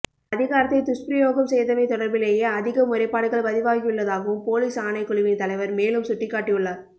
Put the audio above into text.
அதிகாரத்தைத் துஷ்பிரயோகம் செய்தமை தொடர்பிலேயே அதிக முறைப்பாடுகள் பதிவாகியுள்ளதாகவும் பொலிஸ் ஆணைக்குழுவின் தலைவர் மேலும் சுட்டிக்காட்டியுள்ளார்